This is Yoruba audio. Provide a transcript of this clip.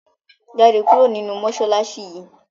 jáde kúrò ninú masalasi yi!